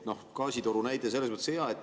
Gaasitoru näide on selles mõttes hea.